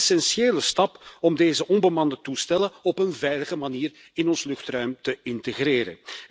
Een essentiële stap om deze onbemande toestellen op een veilige manier in ons luchtruim te integreren.